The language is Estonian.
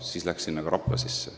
Nii läks ka Rapla sinna sisse.